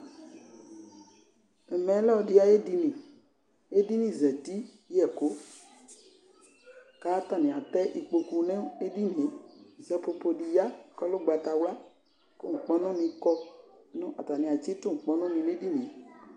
Ɛvɛ lɛ ɔlɔdɩ ayedini , edini zati yɛkʋ k'atani atɛ ikpoku n'edini yɛ Sapopodi ya k'ɔlɛ ʋgbatawla kʋ nkpɔnʋnɩ kɔ nʋ atani atsitʋ nkpɔnʋni n'edini yɛ